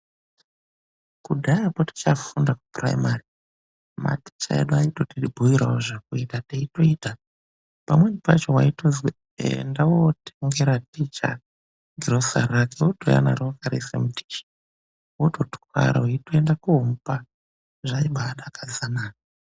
KUDHAYAKO TICHAFUNDA KUPRIMARY MATICHA EDU AITOTIBUYIRAWO ZVEKUITA TECHIITA. PAMWENI PACHO WAITOZI ENDA WOUNZIRA TICHA GROSARI WOTOUYA NARO RIRI MUDISHI WOTOTWARA WEITOENDA KUNOMUPA. ZVAIBADAKADZA NA.